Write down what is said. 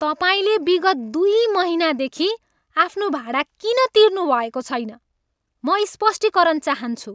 तपाईँले विगत दुई महिनादेखि आफ्नो भाडा किन तिर्नुभएको छैन? म स्पष्टीकरण चाहन्छु।